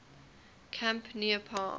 camp near palm